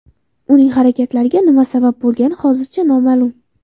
Uning harakatlariga nima sabab bo‘lgani hozircha noma’lum.